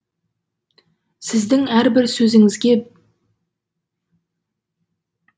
сіздің әрбір сөзіңізге